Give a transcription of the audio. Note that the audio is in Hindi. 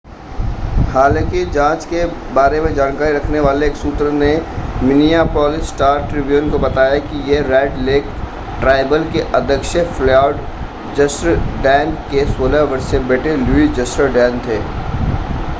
हालांकि जांच के बारे में जानकारी रखने वाले एक सूत्र ने मिनियापोलिस स्टार-ट्रिब्यून को बताया कि ये रेड लेक ट्राइबल के अध्यक्ष फ़्लॉयड जर्सडैन के 16 वर्षीय बेटे लुई जर्सडैन थे